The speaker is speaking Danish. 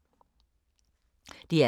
DR K